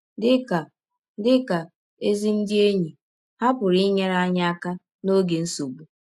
Dị ka Dị ka ‘ ezi ndị enyi, ’ ha pụrụ inyere anyị aka n’ọge nsọgbụ.